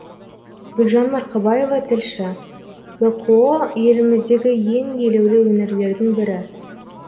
гүлжан марқабаева тілші бқо еліміздегі ең елеулі өңірлердің бірі